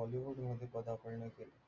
bollywood मध्ये पदार्पण केले.